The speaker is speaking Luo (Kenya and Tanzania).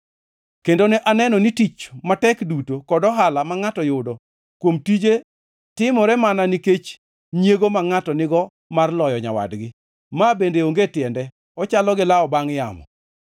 Kendo ne aneno ni tich matek duto kod ohala ma ngʼato yudo kuom tije timore mana nikech nyiego ma ngʼato nigo mar loyo nyawadgi. Ma bende onge tiende, ochalo gi lawo bangʼ yamo.